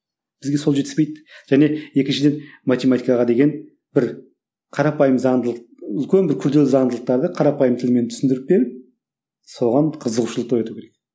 бізге сол жетіспейді және екіншіден математикаға деген бір қарапайым заңдылық үлкен бір күрделі заңдылықтарды қарапайым тілмен түсіндіріп беріп соған қызығушылықты ояту керек